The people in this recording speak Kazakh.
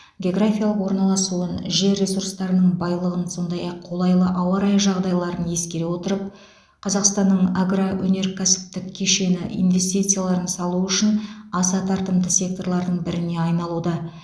географиялық орналасуын жер ресурстарының байлығын сондай ақ қолайлы ауа райы жағдайларын ескере отырып қазақстанның агроөнеркәсіптік кешені инвестицияларын салу үшін аса тартымды секторлардың біріне айналуда